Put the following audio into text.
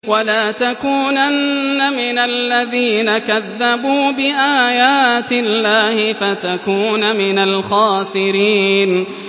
وَلَا تَكُونَنَّ مِنَ الَّذِينَ كَذَّبُوا بِآيَاتِ اللَّهِ فَتَكُونَ مِنَ الْخَاسِرِينَ